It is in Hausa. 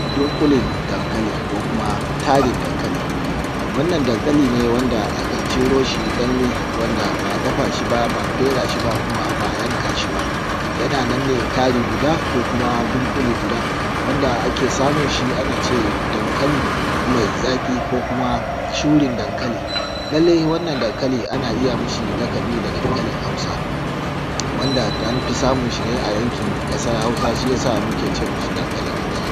Dunƙulen dankali ko kuma tarin dankali. wannan dankali ne wanda a ka ciro shi daga danye wanda ba dafa shi ba, ba a fera shi ba kuma ba a yanka shi ba. Yana nan ne tari guda ko kuma dunƙule guda wanda ake samun shi ana ce dankali mai zaƙi ko kuma curin dankali. lallai wannan dankali ana iya mashi laƙabi da dankalin Hausa wanda an fi samun sa ne a yankin ƙasar Hausa, shi ya sa muke ce mashi dankali Hausa.